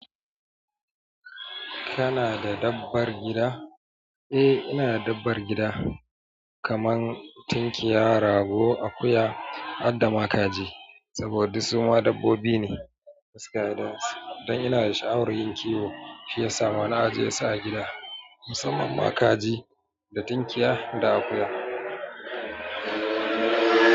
Kana da dabbar gida? Eh ina da dabbar gida, kamar tunkiya, rago, akuya, har da makaji saboda duk su ma dabbobi ne. Don ina sha awar yin kiwo shiyasa ma na ajeyesu a gida musanman ma kaji da tunkiya da akuya.